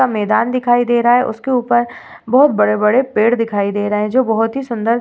मैदान दिखाई दे रहा है। उसके ऊपर बोहोत बड़े-बड़े पेड़ दिखाई दे रहे हैं जो बोहोत ही सुंदर --